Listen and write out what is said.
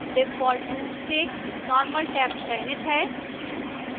default रूप से normal tab चयनित है